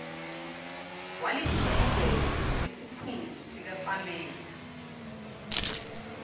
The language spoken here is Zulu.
walijikijela esiphundu sikapamela